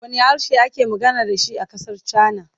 Wanne harshe ake amfani da shi a ƙasar Cana.